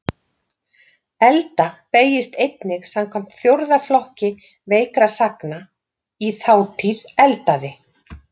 Elda beygist einnig samkvæmt fjórða flokki veikra sagna, í þátíð eldaði.